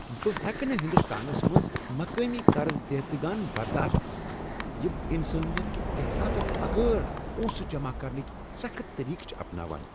بہٕ ہیٚکہٕ نہٕ ہنٛدستانس منٛز مقٲمی قرض دہندگان برداشت کٔرتھ یم انسٲنیت کِہ احساس بغٲر پۄنسہٕ جمع کرنٕکۍ سخت طریقہٕ چھ اپناوان۔